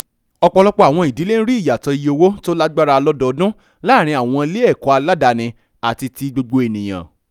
ọ̀pọ̀lọpọ̀ àwọn ìdílé ń rí ìyàtọ̀ ìye owó tó lágbára lódòdún láàárín àwọn ilé-ẹ̀kọ́ aládani àti ti gbogbo ènìyàn